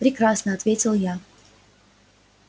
прекрасно ответил я